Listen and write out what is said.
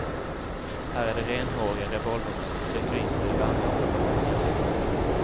Här är det renhåriga revolvermän som rycker in till värnlösa bönders hjälp.